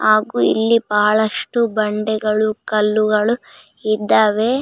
ಹಾಗು ಇಲ್ಲಿ ಬಹಳಷ್ಟು ಬಂಡೆಗಳು ಕಲ್ಲುಗಳು ಇದ್ದವೇ.